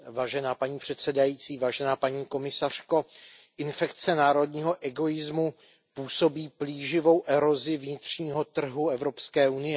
Paní předsedající, paní komisařko, infekce národního egoismu působí plíživou erozi vnitřního trhu Evropské unie.